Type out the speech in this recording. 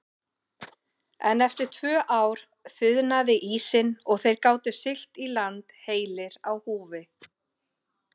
En eftir tvö ár þiðnaði ísinn og þeir gátu siglt í land heilir á húfi.